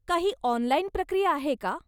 काही ऑनलाइन प्रक्रिया आहे का?